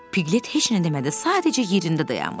Piqlet heç nə demədi, sadəcə yerində dayanmışdı.